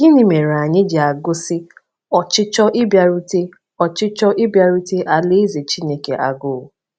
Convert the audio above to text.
Gịnị mere anyị ji agụsi ọchịchọ ịbịarute ọchịchọ ịbịarute Alaeze Chineke agụụ?